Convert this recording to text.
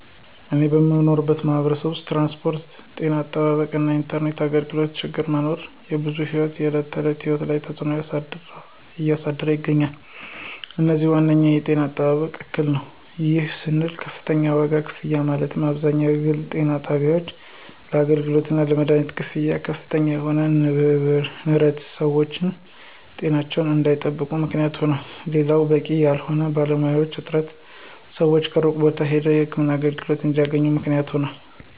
እኔ በምኖርበት ማህበረሰብ ውስጥ ትራንስፖርት፣ ጤና አጠባበቅ እና የኢንተርኔት አገልግሎቶ ችግር መኖር የብዙ ሰወች የዕለት ተዕለት ህይወት ላይ ተፅዕኖ እያሳደረ ይገኛል። ከዚህም ዋነኛው የጤና አጠባበቅ እክል ነው። ይህም ስንል ከፍተኛ ዋጋ ክፍያ ማለትም አብዛኛው የግል ጤና ጣቢያወች ለአገልግሎታቸው እና ለመደሀኒት ክፍያ ከፍተኛ የሆነ ንረት ሰወች ጤናቸውን እንዳይጠብቁ ምክንያት ይሆናል። ሌላው በቂ ያልሆነ የባለሙያዎች እጥረት ሰወች ሩቅ ቦታ ሄደው የህክምና አገልግሎት እንዲያገኙ ምክንያት ሆኗል።